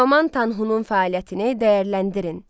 Teoman Tanhu'nun fəaliyyətini dəyərləndirin.